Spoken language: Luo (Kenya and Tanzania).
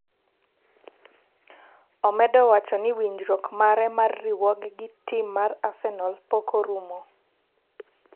omedo wachoni winjruok mare mar riwoge gi tim mar Arsenal pok orumo